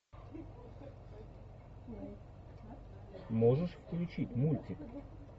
можешь включить мультик